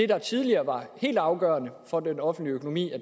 der tidligere var helt afgørende for den offentlige økonomi